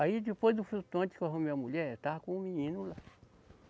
Aí depois do flutuante que eu arrumei a mulher, estava com o menino lá.